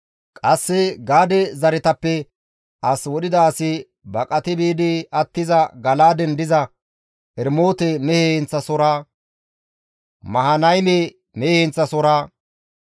Qasse Gaade zaretappe as wodhida asi baqati biidi attiza, Gala7aaden diza Eramoote mehe heenththasohora, Mahanayme mehe heenththasohora,